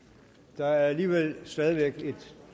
der er alligevel stadig væk et